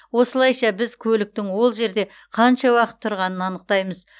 осылайша біз көліктің ол жерде қанша уақыт тұрғанын анықтаймыз